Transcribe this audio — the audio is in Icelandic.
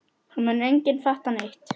Það mun enginn fatta neitt.